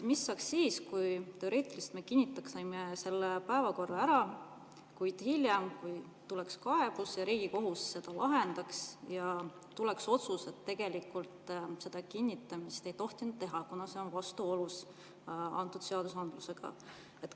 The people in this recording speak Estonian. Mis saab siis, kui me teoreetiliselt kinnitame selle päevakorra ära, kuid hiljem tuleb kaebus, mida Riigikohus lahendab, ja otsustab, et seda kinnitamist ei tohtinud teha, kuna see on vastuolus?